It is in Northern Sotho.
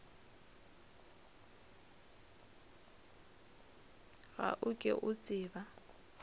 ga o ke o tseba